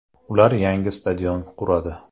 Ular yangi stadion quradi.